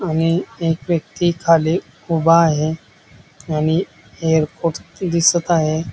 आणि एक व्यक्ती खाली उभा आहे आणि एअरपोर्ट दिसत आहे.